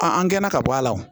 an gɛnna ka bɔ a la wo